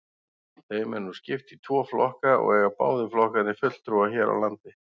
Þeim er nú skipt í tvo flokka og eiga báðir flokkarnir fulltrúa hér á landi.